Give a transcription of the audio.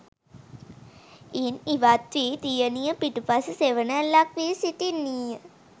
ඉන් ඉවත්වී දියණිය පිටුපස සෙවණැල්ලක් වී සිටින්නීය